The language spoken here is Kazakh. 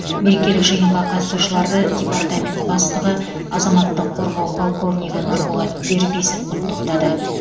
мерекелік жиынға қатысушыларды департамент бастығы азаматтық қорғау полковнигі нұрболат дербисов құттықтады